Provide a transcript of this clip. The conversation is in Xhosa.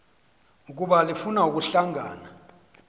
ukuba lifuna ukuhlangana